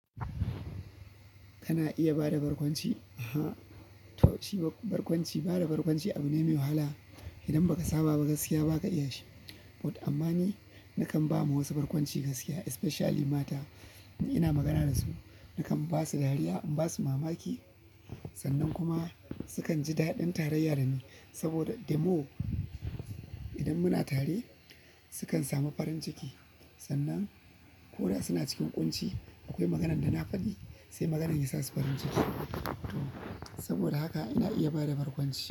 Kana iya ba da barkwanci? A, to ci barkwanci, ba da barkwanci abu ne mai wahala idan ba ka saba gaskiya ba ka iya shi. But amma ni nakan ba ma wasu barkwanci gaskiya especially mata. Ina magana da su, nakan ba su dariya, in ba su mamaki sannan kuma sukan ji daɗin taraya da ni. Saboda demo idan muna tare sukan samu farin ciki sannan ko da suna cikin ƙunci akwai magana da na faɗi sai maganan ya sa su farin ciki. To saboda haka ina iya ba da barkwanci.